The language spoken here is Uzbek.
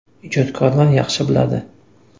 Ijodkorlar yaxshi biladi.